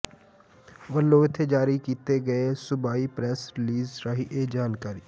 ਵੱਲੋਂ ਇੱਥੇ ਜਾਰੀ ਕੀਤੇ ਗਏ ਸੂਬਾਈ ਪ੍ਰੈਸ ਰਿਲੀਜ਼ ਰਾਹੀਂ ਇਹ ਜਾਣਕਾਰੀ